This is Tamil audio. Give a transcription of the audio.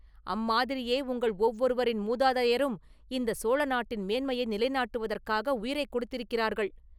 அம்மாதிரியே உங்கள் ஒவ்வொருவரின் மூதாதையரும் இந்தச் சோழ நாட்டின் மேன்மையை நிலைநாட்டுவதற்காக உயிரைக் கொடுத்திருக்கிறார்கள்.